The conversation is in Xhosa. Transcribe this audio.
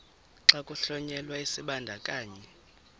xa kuhlonyelwa isibandakanyi